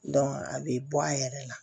a bɛ bɔ a yɛrɛ la